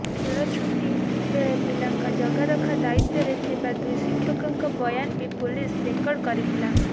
ଖେଳଛୁଟି ବେଳେ ପିଲାଙ୍କ ଜଗାରଖା ଦାୟିତ୍ୱରେ ଥିବା ଦୁଇ ଶିକ୍ଷକଙ୍କ ବୟାନ ବି ପୁଲିସ ରେକର୍ଡ କରିଥିଲା